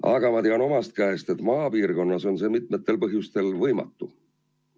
Aga ma tean omast käest, et maapiirkonnas on see mitmel põhjusel võimatu.